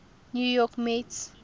new york mets